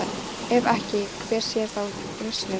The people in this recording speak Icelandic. Ef ekki, hver sé þá lausnin?